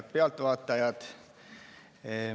Head pealtvaatajad!